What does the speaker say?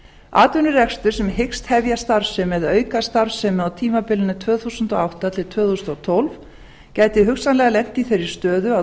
atvinnurekstur sem hyggst hefja starfsemi eða auka starfsemi á tímabilinu tvö þúsund og átta til tvö þúsund og tólf gæti hugsanlega lent í þeirri stöðu að